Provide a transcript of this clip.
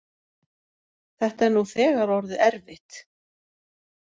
Þetta er nú þegar orðið erfitt.